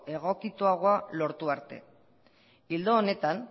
egokituagoa lortu arte ildo honetan